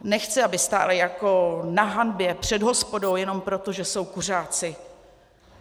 Nechci, aby stáli jako na hanbě před hospodou jenom proto, že jsou kuřáci.